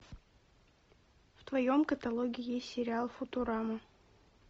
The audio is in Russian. в твоем каталоге есть сериал футурама